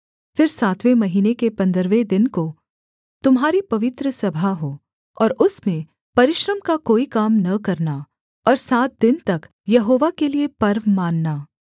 फिर सातवें महीने के पन्द्रहवें दिन को तुम्हारी पवित्र सभा हो और उसमें परिश्रम का कोई काम न करना और सात दिन तक यहोवा के लिये पर्व मानना